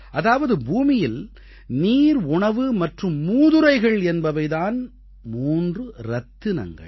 அதாவது பூமியில் நீர் உணவு மற்றும் மூதுரைகள் என்பவை தான் மூன்று ரத்தினங்கள்